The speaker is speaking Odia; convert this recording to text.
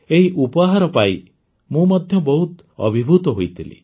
ଏହି ଉପହାର ପାଇ ମୁଁ ମଧ୍ୟ ବହୁତ ଅଭିଭୂତ ହୋଇଥିଲି